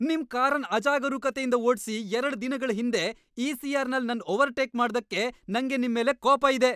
ನಿಮ್ ಕಾರನ್ ಅಜಾಗರೂಕತೆಯಿಂದ್ ಓಡ್ಸಿ ಎರಡ್ ದಿನಗಳ್ ಹಿಂದೆ ಇ, ಸಿ, ಆರ್, ನಲ್ ನನ್ ಓವರ್ಟೇಕ್ ಮಾಡ್ದಕ್ಕೆ ನಂಗೆ ನಿಮ್ಮೆಲೆ ಕೋಪ ಇದೆ.